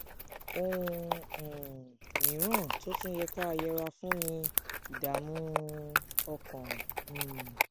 ohun um mìíràn tó tún yẹ ká yẹra fún ni ìdààmú um ọkàn um